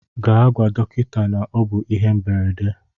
Gaa gwa dọkịta na ọ bụ ihe mberede.